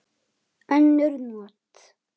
Önnur not